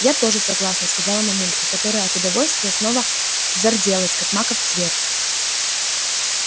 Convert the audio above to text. я тоже согласна сказала мамулька которая от удовольствия снова зарделась как маков цвет